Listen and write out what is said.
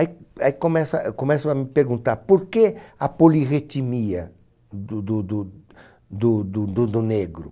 Aí aí começa, começam a me perguntar por que a polirritimia do do do do do do negro.